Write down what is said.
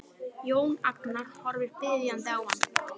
Jón Agnar horfir biðjandi á hann.